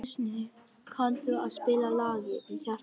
Kristný, kanntu að spila lagið „Í hjarta mér“?